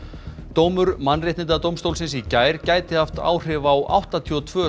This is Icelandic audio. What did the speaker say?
dómur Mannréttindadómstólsins í gær gæti haft áhrif á áttatíu og tvö